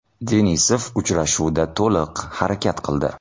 Denisov uchrashuvda to‘liq harakat qildi.